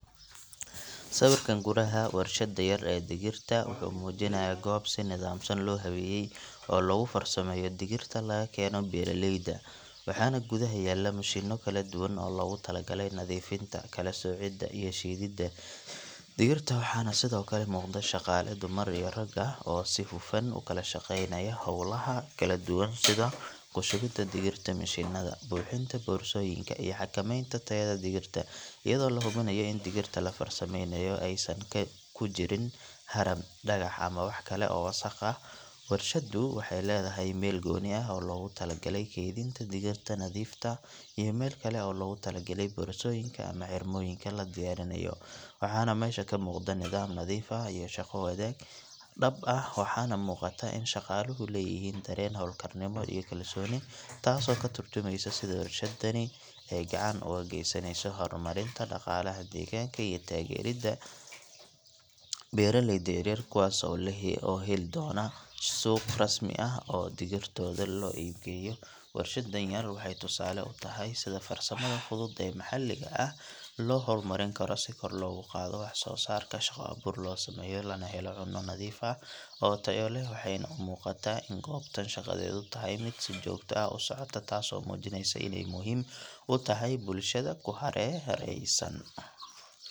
Sawirkan gudaha warshadda yar ee digirta wuxuu muujinayaa goob si nidaamsan loo habeeyay oo lagu farsameeyo digirta laga keeno beeraleyda waxaana gudaha yaalla mashiinno kala duwan oo loogu talagalay nadiifinta, kala soocidda iyo shiididda digirta waxaana sidoo kale muuqda shaqaale dumar iyo rag ah oo si hufan u kala shaqaynaya hawlaha kala duwan sida ku shubidda digirta mishiinnada, buuxinta boorsooyinka iyo xakamaynta tayada digirta iyadoo la hubinayo in digirta la farsameynayo aysan ku jirin haram, dhagax ama wax kale oo wasakh ah warshaddu waxay leedahay meel gooni ah oo loogu talagalay keydinta digirta nadiifta ah iyo meel kale oo loogu tala galay boorsooyinka ama xirmooyinka la diyaarinayo waxaana meesha ka muuqda nidaam nadiif ah iyo shaqo wadaag dhab ah waxaana muuqata in shaqaaluhu leeyihiin dareen hawlkarnimo iyo kalsooni taasoo ka tarjumaysa sida warshaddani ay gacan uga geysanayso horumarinta dhaqaalaha deegaanka iyo taageeridda beeraleyda yaryar kuwaas oo heli doona suuq rasmi ah oo digirtooda loo iibgeeyo warshaddan yar waxay tusaale u tahay sida farsamada fudud ee maxalliga ah loo horumarin karo si kor loogu qaado wax soo saarka, shaqo abuur loo sameeyo lana helo cunno nadiif ah oo tayo leh waxayna u muuqataa in goobtan shaqadeedu tahay mid si joogto ah u socota taasoo muujinaysa inay muhiim u tahay bulshada ku hareeraysan.